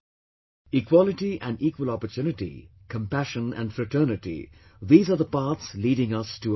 Equality and equal opportunity, compassion and fraternity, these are the paths leading us to a bright future